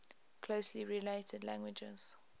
closely related languages